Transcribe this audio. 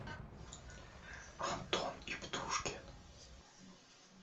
антон птушкин